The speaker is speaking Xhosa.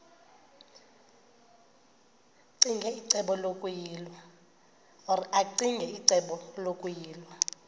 ccinge icebo lokuyilwa